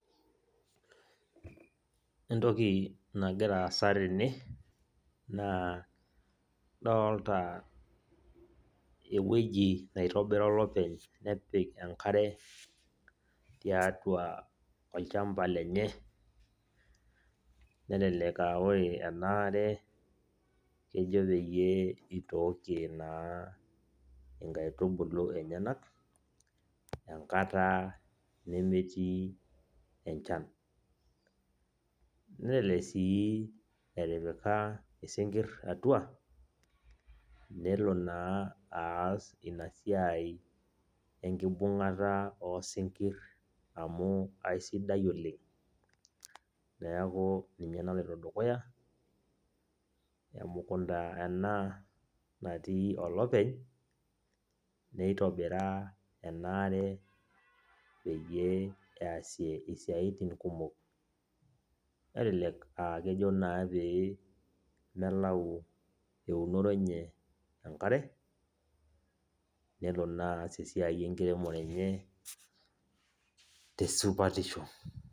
Entoki nagira aasa tene, naa adolta ewueji naitobira olopeny, nepik enkare, tiatua olchamba lenye, nelelek ah ore enaare kejo peyie itookie naa inkaitubulu enyanak, enkata nemetii enchan. Nelelek si etipika isinkirr atua, nelo naa aas esiai enkibung'ata osinkir amu aisidai oleng. Neeku ina naloito dukuya, emukunda ena natii olopeny, nitobira enaare peyie easie isiaitin kumok. Nelelek ah kejo naa pee melau eunore enye enkare, nelo naa aas esiai enkiremore enye tesupatisho.